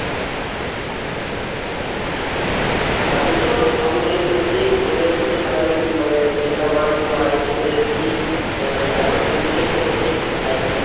আমি তো ওই অঙ্গনারী পড়েছি, অঙ্গনারী পড়েতে primary মানে যেটা one two হয় এসেছি এখন তুমি six এ পড়ছি high school এ।